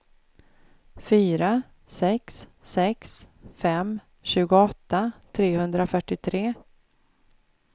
fyra sex sex fem tjugoåtta trehundrafyrtiotre